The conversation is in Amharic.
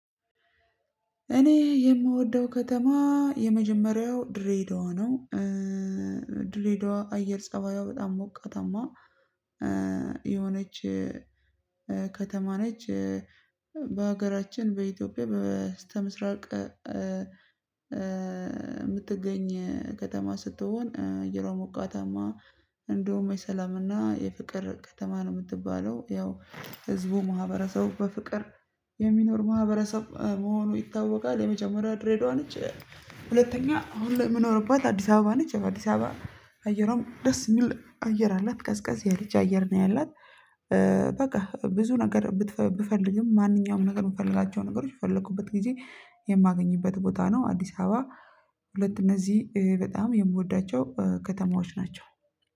እኔ የምወደው ከተማ የመጀመሪያው ድሬዳዋ ነው። ድሬዳዋ አየር ጸባይዋ በጣም ሞቃታማ የሆነች ከተማ ነች። በሀገራችን በኢትዮጵያ በስተምስራቅ የምትገኝ ከተማ ስትሆን አየሯ ሞቃታማ እንደውም የሰላምና የፍቅር ከተማ ነው የምትባለው። ያው ህዝቡ ማህበረሰቡ በፍቅር የሚኖር ማህበረሰብ መሆኑ ይታወቃል። የመጀመሪያ ድሬዳዋ ነች። ሁለተኛ አሁን ላይ የምኖርባት አዲስ አበባ ነች። አዲስ አበባ አየር ደስ የሚል አየር አላት ቀዝቀዝ ያለች አየር ነው ያላት። በቃ ብዙ ነገር ብፈልግም ማንኛውም ነገር የምፈልጋቸው ነገሮች በፈለኩበት ጊዜ የማገኝበት ቦታ ነው። አዲስ አበባ ሁለት እነዚህ በጣም የምወዳቸው ከተማዎች ናቸው